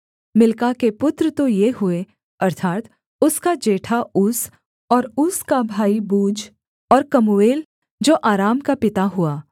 मिल्का के पुत्र तो ये हुए अर्थात् उसका जेठा ऊस और ऊस का भाई बूज और कमूएल जो अराम का पिता हुआ